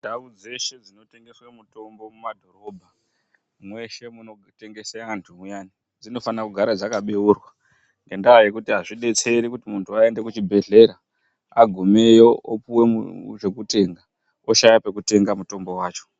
Ndau dzeshe dzinotengeswe mutombo mumadhorobha mweshe munotengese antu muyani dzinofana kugara dzakabeurwa ngendaa yekuti azvidetseri kuti muntu waende kuchibhedhlera agumeyo opuwe mumu zvekutenga oshaye pekutenga mutombo wacho.